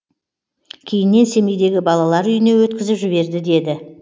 кейіннен семейдегі балалар үйіне өткізіп жіберді деді